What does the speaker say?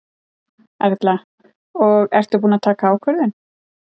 Erla: Og ertu búin að taka ákvörðun?